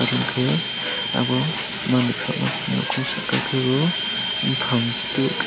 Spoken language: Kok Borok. chung ke obo manui falma nuko saka kebo bufang tui ke.